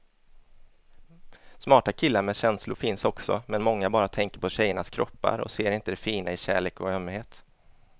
Smarta killar med känslor finns också, men många bara tänker på tjejernas kroppar och ser inte det fina i kärlek och ömhet.